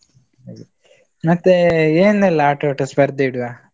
ಹಾಗೆ, ಮತ್ತೆ ಏನೆಲ್ಲಾ ಆಟೋಟ ಸ್ಪರ್ದೆ ಇಡುವಾ?